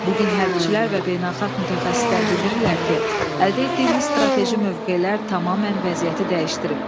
Bugün hərbçilər və beynəlxalq mütəxəssislər bildirirlər ki, əldə etdiyimiz strateji mövqelər tamamilə vəziyyəti dəyişdirib.